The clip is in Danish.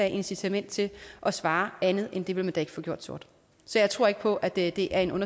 incitament til at svare andet end at det vil man da ikke få gjort sort så jeg tror ikke på at det er en